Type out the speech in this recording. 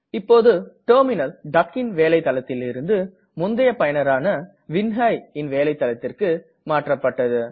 இப்போது டெர்மினல் duckன் வேலை தளத்தில் இருந்து முந்தய பயனரான vinhaiன் வேலை தளத்திற்கு மாற்றப்பட்டது